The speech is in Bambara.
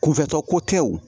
Kunfɛtɔ ko tɛ wo